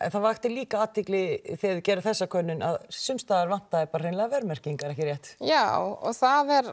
það vakti líka athygli þegar þið gerðuð þessa könnun að sums staðar vantaði hreinlega verðmerkingar ekki rétt já og það er